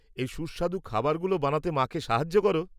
এই সুস্বাদু খাবারগুলো বানাতে মাকে সাহায্য করো?